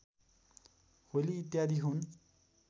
होली इत्यादि हुन्